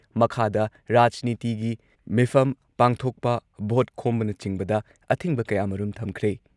ꯃꯈꯥꯗ ꯔꯥꯖꯅꯤꯇꯤꯒꯤ ꯃꯤꯐꯝ ꯄꯥꯡꯊꯣꯛꯄ, ꯚꯣꯠ ꯈꯣꯝꯕꯅꯆꯤꯡꯕꯗ ꯑꯊꯤꯡꯕ ꯀꯌꯥꯃꯔꯨꯝ ꯊꯝꯈ꯭ꯔꯦ ꯫